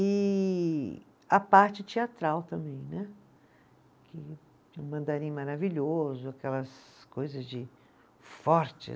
E a parte teatral também né, que mandarim maravilhoso, aquelas coisas de fortes.